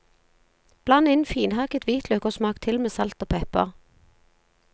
Bland inn finhakket hvitløk og smak til med salt og pepper.